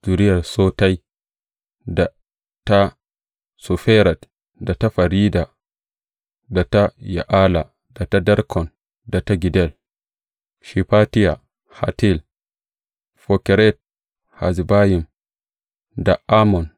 Zuriyar Sotai, da ta Soferet, da ta Ferida, da ta Ya’ala, da ta Darkon, da ta Giddel, Shefatiya, Hattil, Fokeret Hazzebayim, da Amon.